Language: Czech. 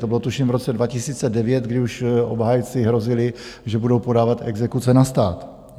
To bylo, tuším, v roce 2009, kdy už obhájci hrozili, že budou podávat exekuce na stát.